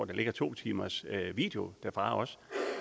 der ligger to timers video derfra